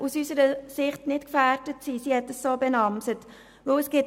Aus unserer Sicht sollte das nicht gefährdet sein.